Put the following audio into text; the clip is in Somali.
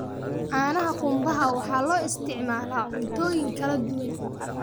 Caanaha qumbaha waxaa loo isticmaalaa cuntooyin kala duwan.